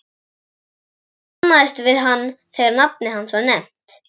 Ég kannaðist við hann þegar nafnið hans var nefnt.